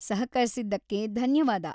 ಸಹಕರಿಸಿದ್ದಕ್ಕೆ ಧನ್ಯವಾದ.